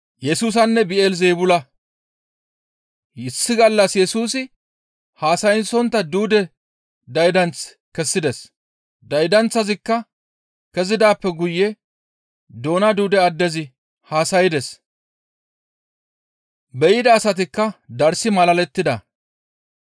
Issi gallas Yesusi haasayssontta duude daydanth kessides. Daydanththazikka kezidaappe guye doona duude addezi haasaydes; be7ida asatikka darssi malalettida.